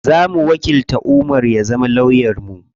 Zamu wakilta Umar ya zama lawyan mu.